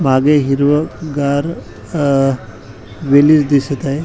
मागे हिरवगार अ वेली दिसत आहे.